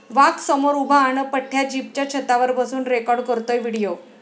वाघ समोर उभा अन् पठ्या जीपच्या छतावर बसून रेकाॅर्ड करतोय व्हिडिओ